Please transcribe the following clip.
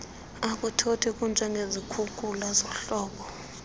akuthothi kunjengezikhukula zehlobo